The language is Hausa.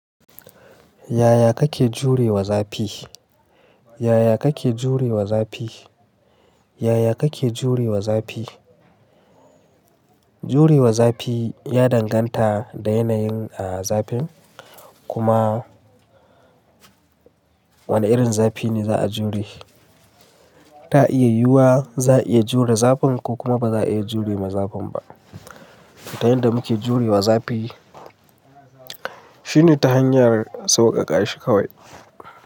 Yaya kake jurewa zafi? Yaya kake jurewa zafi? Yaya kake jurewa zafi? Jurewa zafi ya danganta da yanayin, ah, zafin kuma wane irin zafi ne za a jure. Ta iya yiwuwa za a iya jure zafin ko kuma ba za a iya jurewa zafin ba. Ta yanda muke jurewa zafi shine ta hanyar sauƙaƙa shi kawai.